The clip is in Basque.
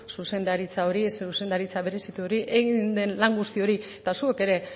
zuzendaritza hori zuzendaritza berezitu hori egin den lan guzti hori eta zuok ere